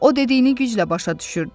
O dediyini güclə başa düşürdü.